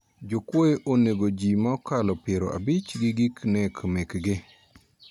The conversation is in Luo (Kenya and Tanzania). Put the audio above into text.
Jokuoye onego ji ma okalo pier abich gi gik nek mekgi